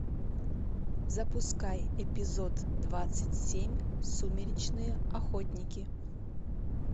запускай эпизод двадцать семь сумеречные охотники